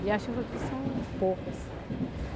E as chuvas aqui são poucas.